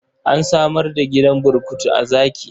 An samar da gidan burkutu a Zaki.